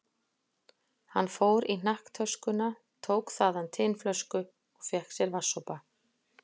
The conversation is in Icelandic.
Hann fór í hnakktöskuna, tók þaðan tinflösku og fékk sér vatnssopa.